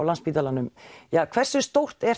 Landspítalans hversu stórt er